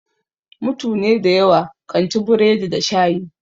Mutune da yawa kan ci burodi da shayi.